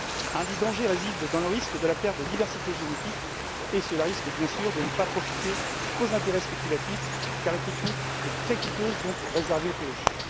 L'un des dangers réside dans la perte de diversité génétique et cela risque bien sûr de ne pas profiter qu'aux intérêts spéculatifs car la technique est très coûteuse, donc réservée aux plus riches.